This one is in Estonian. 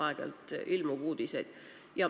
Aeg-ajalt ilmub selliseid uudiseid.